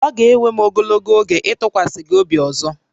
Ọ ga-ewe m ogologo oge ịtụkwasị gị obi ọzọ